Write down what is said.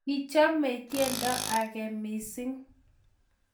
kichomei tiendo age mising'